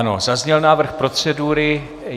Ano, zazněl návrh procedury.